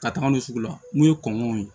Ka taga n'u ye sugu la n'u ye kɔngɔw ye